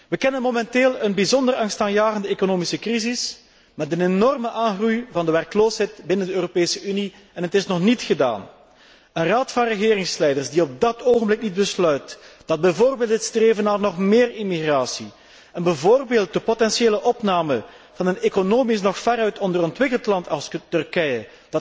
We kennen momenteel een bijzonder angstaanjagende economische crisis met een enorme groei van de werkloosheid binnen de Europese Unie, en het is nog niet gedaan. Een Raad van regeringsleiders die op dat ogenblik niet besluit dat bijvoorbeeld het streven naar nog meer immigratie, en bijvoorbeeld de potentiële opname van een economisch nog veruit onderontwikkeld land als Turkije,